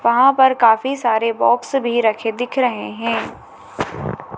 वहां पर काफी सारे बॉक्स भी रखे दिख रहे हैं।